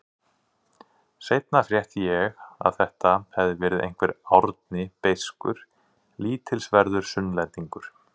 Seinna frétti ég að þetta hefði verið einhver Árni beiskur, lítilsverður Sunnlendingur.